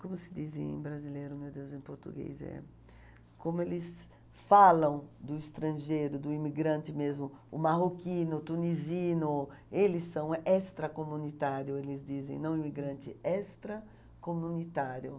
como se diz em brasileiro, meu Deus, em português, eh, como eles falam do estrangeiro, do imigrante mesmo, o marroquino, o tunisino, eles são extracomunitário, eles dizem, não imigrante, extracomunitário.